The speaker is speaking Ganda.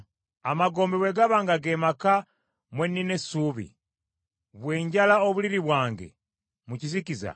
Amagombe bwe gaba nga ge maka mwe nnina essuubi, bwe njala obuliri bwange mu kizikiza,